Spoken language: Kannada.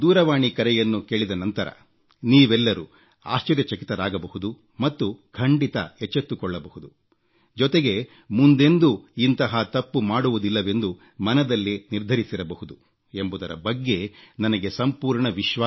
ಈ ದೂರವಾಣಿ ಕರೆಯನ್ನು ಕೇಳಿದ ನಂತರ ನೀವೆಲ್ಲರೂ ಆಶ್ಚರ್ಯಚಕಿತರಾಗಬಹುದು ಮತ್ತು ಖಂಡಿತಾ ಎಚ್ಚೆತ್ತುಕೊಳ್ಳಬಹುದು ಜೊತೆಗೆ ಮುಂದೆಂದೂ ಇಂತಹ ತಪ್ಪು ಮಾಡುವುದಿಲ್ಲವೆಂದು ಮನದಲ್ಲೇ ನಿರ್ಧರಿಸಿರಬಹುದು ಎಂಬುದರ ಬಗ್ಗೆ ನನಗೆ ಸಂಪೂರ್ಣ